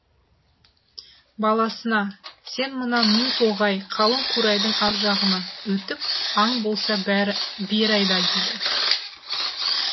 баласына сен мына ну тоғай қалың қурайдың ар жағына өтіп аң болса бері айда дейді